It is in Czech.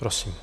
Prosím.